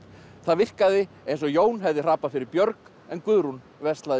það virkaði eins og Jón hefði hrapað fyrir björg en Guðrún